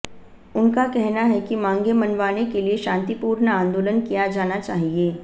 उनका कहना है कि मांगें मनवाने के लिए शांतिपूर्ण आंदोलन किया जाना चाहिए